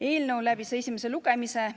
Eelnõu läbis esimese lugemise.